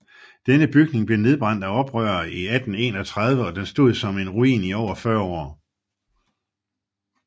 Denne bygning blev nedbrændt af oprørere i 1831 og den stod som en ruin i over 40 år